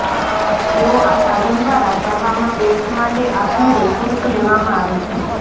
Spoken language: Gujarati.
તેઓ આ સાધન દ્વારા કરવામાં બેટ્સ માટે આપમેળે શુલ્ક લેવામાં આવે છે